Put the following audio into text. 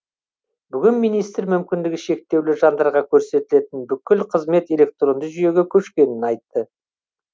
бүгін министр мүмкіндігі шектеулі жандарға көрсетілетін бүкіл қызмет электронды жүйеге көшкенін айтты